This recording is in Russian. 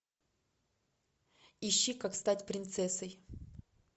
ищи как стать принцессой